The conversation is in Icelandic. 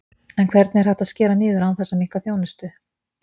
En hvernig er hægt að skera niður án þess að minnka þjónustu?